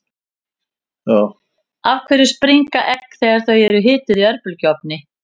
af hverju springa egg þegar þau eru hituð í örbylgjuofni